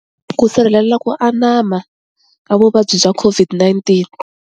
Ku sirhelela ku anama ka vuvabyi bya COVID-19.